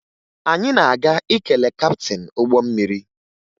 Anyị na-aga ikele kaptịn ụgbọ mmiri